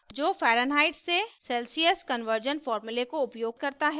जो फैरन्हाइट से Celsius conversion फॉर्मूले को उपयोग करता है